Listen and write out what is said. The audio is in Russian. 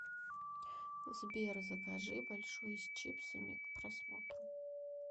сбер закажи большой с чипсами к просмотру